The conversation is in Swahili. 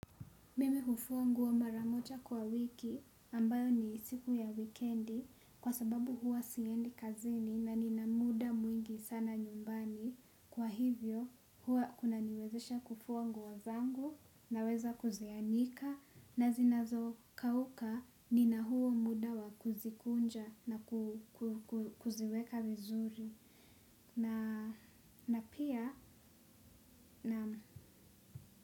Mimi hufua nguo mara moja kwa wiki ambayo ni siku ya wikendi kwa sababu huwa siendi kazini na nina muda mwingi sana nyumbani. Kwa hivyo huwa kuna niwezesha kufua nguo zangu na weza kuzianika na zinazo kauka nina huo muda wa kuzikunja na kuziweka vizuri. Na pia na.